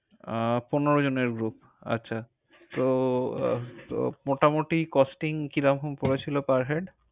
আহ পনেরো জন এর group । আচ্ছা। তো আহ তো মোটামুটি costing কীরকম পরেছিল per head?